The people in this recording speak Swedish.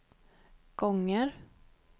gånger